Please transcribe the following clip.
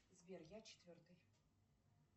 сбер я четвертый